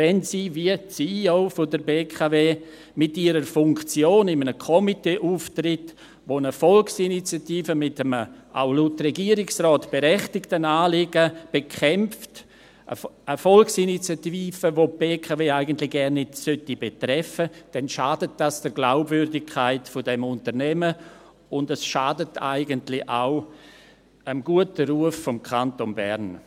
Wenn sie aber, wie die CEO der BKW, mit ihrer Funktion in einem Komitee auftritt, das eine Volksinitiative mit einem, auch laut Regierungsrat, berechtigten Anliegen bekämpft – eine Volksinitiative, welche die BKW eigentlich gar nicht betreffen sollte –, dann schadet dies der Glaubwürdigkeit des Unternehmens, und es schadet eigentlich auch dem guten Ruf des Kantons Bern.